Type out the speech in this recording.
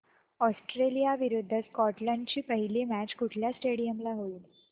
Australia विरुद्ध Scotland ची पहिली मॅच कुठल्या स्टेडीयम ला होईल